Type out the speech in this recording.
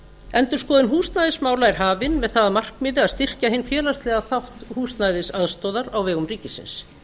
endurskoðun húsnæðismála er hafin með það að markmiði að styrkja hinn félagslega þátt húsnæðisaðstoðar á vegum ríkisins